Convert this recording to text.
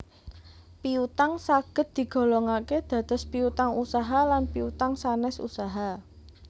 Piutang saged digolongake dados Piutang Usaha lan Piutang sanes Usaha